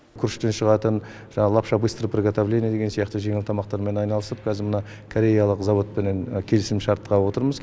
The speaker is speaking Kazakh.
күріштен шығатын жаңағы лапша быстрого приготовления деген сияқты жеңіл тамақтармен айналысып қазір мына кореялық зауытпен келісімшартқа отырмыз